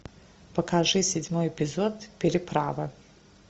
покажи седьмой эпизод переправа